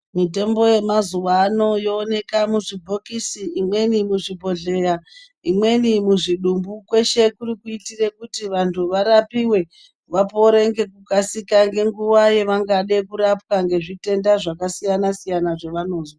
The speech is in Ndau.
Mutombo yemazuwa ano yooneka muzvibhokisi imweni muzvibhodhleya imweni muzvimbu kweshe kuri kuitire kuti vantu varapiwe vapore ngekukasira ngenguwa yavangade kurapwa ngezvitenda zvakasiyana siyana zvavanozwa.